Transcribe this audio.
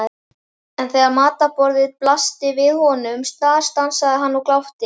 En þegar matarborðið blasti við honum snarstansaði hann og glápti.